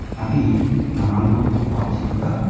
అవి నాలుగు బాక్స్ లుగా.